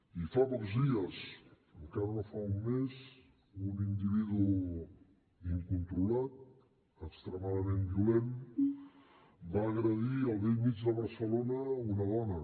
i fa pocs dies encara no fa un mes un individu incontrolat extremadament violent va agredir al bell mig de barcelona una dona